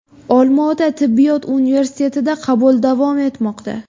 Olmaota tibbiyot universitetida qabul davom etmoqda!